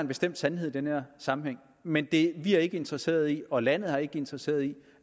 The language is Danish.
bestemt sandhed i den her sammenhæng men vi er ikke interesserede i og landet er ikke interesseret i